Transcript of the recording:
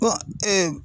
Kɔn